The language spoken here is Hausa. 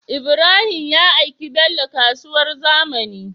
Ibrahim ya aiki bello kasuwar zamani